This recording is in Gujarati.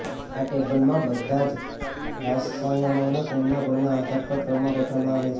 આ ટેબલમાં બધા જ રસાયણોને તેમના ગુણના આધાર પર ક્રમમાં ગોઠવવામાં આવ્યા છે